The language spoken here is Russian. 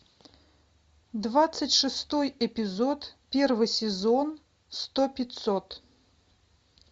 двадцать шестой эпизод первый сезон сто пятьсот